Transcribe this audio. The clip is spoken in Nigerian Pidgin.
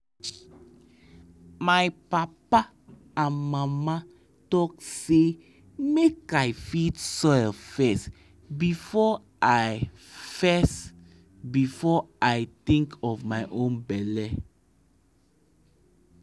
my papa and mama talk say make i feed soil first before i first before i think of my own belle.